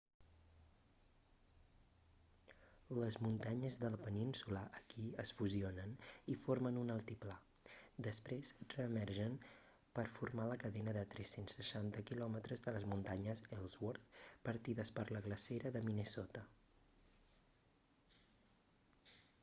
les muntanyes de la península aquí es fusionen i formen un altiplà després reemergeixen per formar la cadena de 360 km de les muntanyes ellsworth partides per la glacera de minnesota